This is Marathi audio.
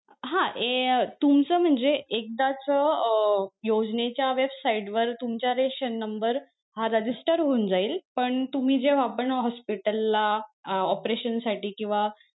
हा ए तुमचं म्हणजे एकदाच अं योजनेच्या website वर तुमचा रेशन number हा register होऊन जाईल पण तुम्ही जेव्हा पण hospital ला अं operation साठी किंवा,